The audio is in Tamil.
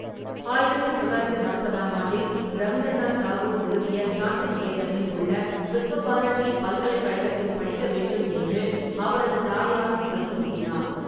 ஆயிரத்து தொள்ளாயிரத்து நாற்பதாம் ஆண்டில், ரவீந்திரநாத் தாகூர் நிறுவிய ஷாந்திநிகேதனில் உள்ள விஸ்வ பாரதி பல்கலைக்கழகத்தில் படிக்க வேண்டும் என்று அவரது தாயார் வலியுறுத்தினார்.